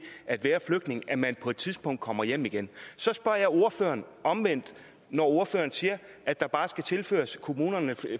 at være flygtning nemlig at man på et tidspunkt kommer hjem igen så spørger jeg ordføreren omvendt når ordføreren siger at der bare skal tilføres kommunerne